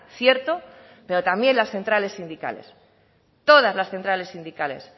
cierto pero también las centrales sindicales todas las centrales sindicales